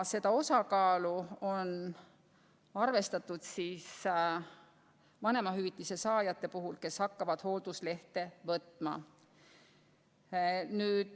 Seda osakaalu on arvestatud vanemahüvitise saajate puhul, kes hakkavad hoolduslehte võtma.